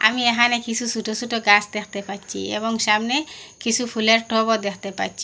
আমি এখানে কিছু ছুটো ছুটো গাস দ্যাখতে পাচ্চি এবং সামনে কিছু ফুলের টবও দ্যাখতে পাচ্চি।